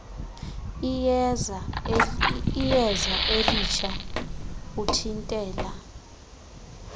iyeza elitsha uthintela